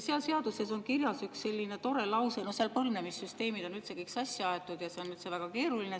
Selles seaduses on põlvnemissüsteemid täitsa sassi aetud ja seal on üldse kõik väga keeruline.